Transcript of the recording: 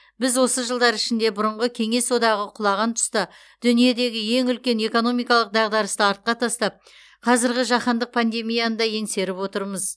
біз осы жылдар ішінде бұрынғы кеңес одағы құлаған тұста дүниедегі ең үлкен экономикалық дағдарысты артқа тастап қазіргі жаһандық пандемияны да еңсеріп отырмыз